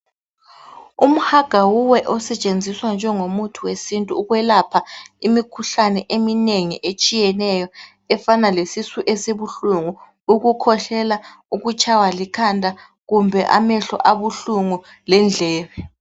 Umhagawuwe osetshenziswa njengo muthi wesintu ukwelapha imikhuhlane eminengi etshiyeneyo efana lesisu esibuhlungu ukukhwehlela ukutshaywa likhanda kumbe amehlo abuhlungu lendlebe.